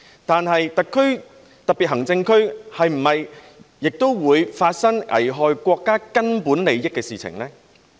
但是，特別行政區是不是也會發生危害國家根本利益的事情呢？